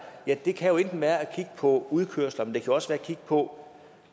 ja det kan jo enten være at kigge på udkørsler men det kan også være at kigge på